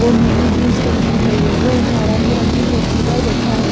वो नीली जींस पहनी हुई है वह एक नारंगी रंग की कुर्सी पर बैठा है।